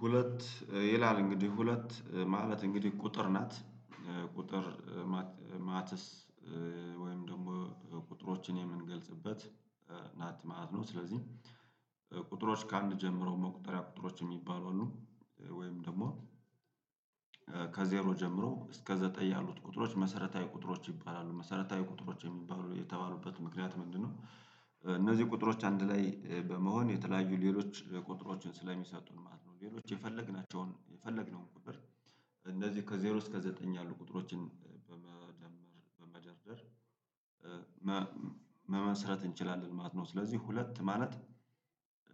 ሁለት ይላል እንግዲህ ሁለት ማለት እንግዲህ ቁጥር ናት። ቁጥር ማትስ ወይም ደግሞ ቁጥሮችን የምንገልጽበት ናት ማት ነው ስለዚህ ቁጥሮች ከአንድ ጀምሮ መቁጠሪያ ቁጥሮች የሚባሉ አሉ ወይም ደግሞ ከዜሮ ጀምሮ እስከ ዘጠኝ ያሉት ቁጥሮች መሰረታዊ ቁጥሮች ይባላሉ። መሰረታዊ ቁጥሮች የተባሉበት ምክንያት ምንድነው እነዚህ ቁጥሮች አንድ ላይ በመሆን የተለያዩ ሌሎች ቁጥሮችን ስለሚሰጡን ማለት ነው። ሌሎች የፈለግናቸውን የፈለግነውን ቁጥር እንደዚህ ከዜሮ እስከ ዘጠኝ ያሉ ቁጥሮችን በመደርደር መመስረት እንችላለን ማለት ነው ስለዚህ ሁለት ማለት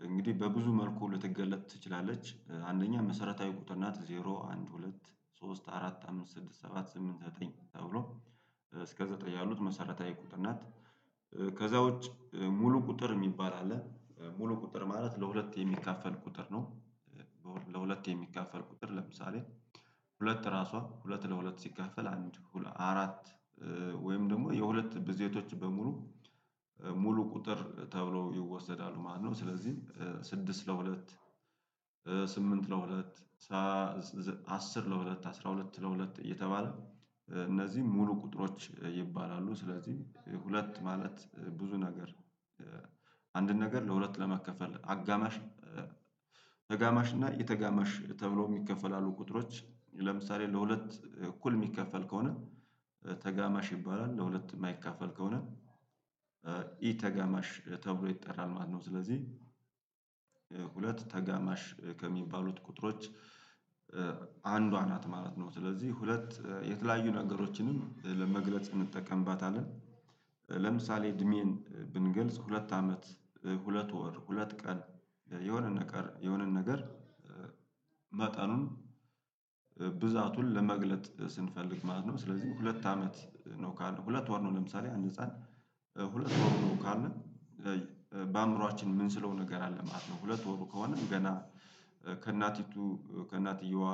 እንግዲህ በብዙ መልኩ ልትገለጥ ትችላለች። አንደኛ መሰረታዊ ቁጥር ናት ዜሮ አንድ ሁለት ሶስት አራት አምስት ስድስት ሰባት ስምንት ዘጠኝ ተብሎ እስከ ዘጠኝ ያሉት መሰረታዊ ቁጥር ናት። ከዛ ውጭ ሙሉ ቁጥር የሚባል አለ። ሙሉ ቁጥር ማለት ለሁለት የሚካፈል ቁጥር ነው። ለሁለት የሚካፈል ቁጥር ለምሳሌ ሁለት ራሷ ሁለት ለሁለት ሲካፈል አንድ አራት ወይም ደግሞ የሁለት ብዝየቶች በሙሉ ሙሉ ቁጥር ተብሎ ይወሰዳሉ ማለት ነው ስለዚህ ስድስት ለሁለት ስምንት ለሁለት አስር ለሁለት አስራ ሁለት ለሁለት እየተባለ እነዚህ ሙሉ ቁጥሮች ይባላሉ ስለዚህ ሁለት ማለት ብዙ ነገር አንድን ነገር ለሁለት ለማካፈል አጋማሽ ተጋማሽ እና የተጋማሽ ተብሎ የሚከፈል አሉ ቁጥሮች ለምሳሌ ለሁለት እኩል የሚከፈል ከሆነ ተጋማሽ ይባላል ለሁለት የማይካፈል ከሆነ ኢ ተጋማሽ ተብሎ ይጠራል ማነው ስለዚህ ሁለት ተጋማሽ ከሚባሉት ቁጥሮች አንዷ ናት ማለት ነው ስለዚህ ሁለት የተለያዩ ነገሮችንም ለመግለጽ እንጠቀምባታለን። ለምሳሌ እድሜን ብንገልጽ ሁለት አመት ሁለት ወር ሁለት ቀን የሆነ ነገር የሆነ ነገር መጠኑን ብዛቱን ለመግለጽ ስንፈልግ ማለት ነው ስለዚህ ሁለት አመት ነው ሁለት ወር ነው ለምሳሌ አንድ ህፃን ሁለት ወሩ ነው ካልን በአእምሮአችን ምንስለው ነገር አለ ማለት ነው ሁለት ወሩ ከሆነም ገና ከእናቲቱ ከእናቲያዋ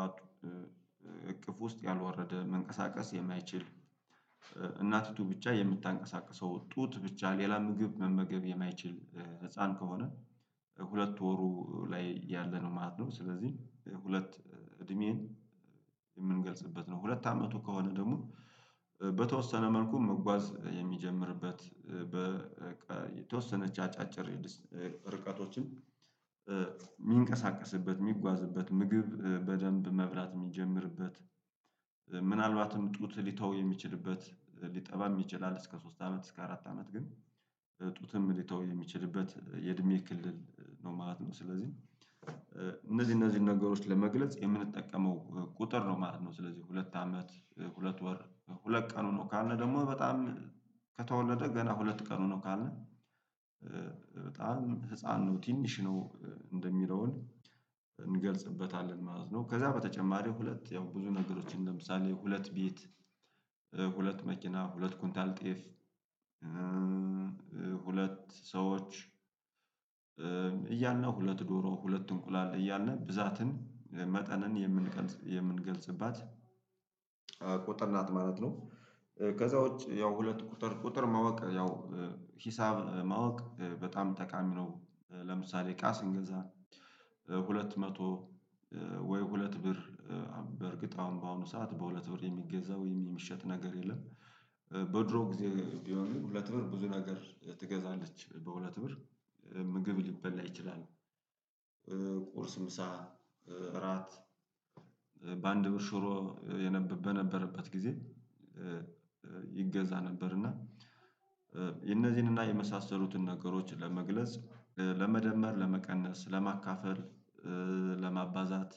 እቅፍ ውስጥ ያልወረደ መንቀሳቀስ የማይችል እናቲቱ ብቻ የምታንቀሳቅሰው ጡት ብቻ ሌላ ምግብ መመገብ የማይችል ህፃን ከሆነ ሁለት ወሩ ላይ ያለ ነው ማለት ነው ስለዚህ ሁለት እድሜን የምንገልጽበት ነው ሁለት አመቱ ከሆነ ደግሞ በተወሰነ መልኩ መጓዝ የሚጀምርበት በተወሰነች አጫጭር ርቀቶችም የሚንቀሳቀስበት የሚጓዝበት ምግብ በደንብ መብላት የሚጀምርበት ምናልባትም ጡት ሊተው የሚችልበት ሊጠባም ይችላል እስከ ሶስት አመት እስከ አራት አመት ግን ጡትም ሊተው የሚችልበት የእድሜ ክልል ነው ማለት ነው ስለዚህ እነዚህ እነዚህን ነገሮች ለመግለጽ የምንጠቀመው ቁጥር ነው ማለት ነው ስለዚህ ሁለት አመት ሁለት ወር ሁለት ቀኑ ነው ካልን ደግሞ በጣም ከተወለደ ገና ሁለት ቀኑ ነው ካልን በጣም ህፃን ነው ትንሽ ነው እሚለውን እንገልጽበታለን ማለት ነው ከዛ በተጨማሪው ሁለት ያው ብዙ ነገሮችን ለምሳሌ ሁለት ቤት ሁለት መኪና ሁለት ኩንታል ጤፍ ሁለት ሰዎች እያልን ሁለት ዶሮ ሁለት እንቁላል እያልን ብዛትን መጠንን የፈ የምንገልጽባት ቁጠር ናት ማለት ነው። ከዛ ውጭ ያው ሁለት ቁጥር ቁጥር ማወቅ ያው ሂሳብ ማወቅ በጣም ጠቃሚ ነው ለምሳሌ እቃ ስንገዛ ሁለት መቶ ወይ ሁለት ብር በእርግጥ በአሁኑ ሰዓት በሁለት ብር የሚገዛ ወይም የሚሸጥ ነገር የለም። በድሮ ጊዜ ቢሆንም ሁለት ብር ብዙ ነገር ትገዛለች። በሁለት ብር ምግብ ሊበላ ይችላል። ቁርስ ምሳ እራት በአንድ ብር ሽሮ በነበረበት ጊዜ ይገዛ ነበር እና የነዚህን እና የመሳሰሉትን ነገሮች ለመግለጽ ለመደመር ለመቀነስ ለማካፈል ለማባዛት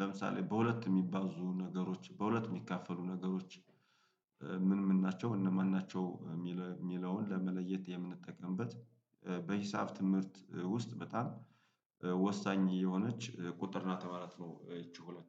ለምሳሌ በሁለት የሚባዙ ነገሮች በሁለት የሚካፈሉ ነገሮች ምን ምን ናቸው እነማን ናቸው? የሚለውን ለመለየት የምንጠቀምበት በሂሳብ ትምህርት ውስጥ በጣም ወሳኝ የሆነች ቁጥር ናት ማለት ነው ይቺ ሁለት።